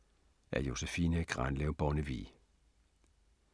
Af Josephine Grandlev Bonnevie